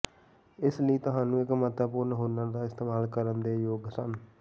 ਇਸ ਲਈ ਤੁਹਾਨੂੰ ਇੱਕ ਮਹੱਤਵਪੂਰਨ ਹੁਨਰ ਦਾ ਇਸਤੇਮਾਲ ਕਰਨ ਦੇ ਯੋਗ ਸਨ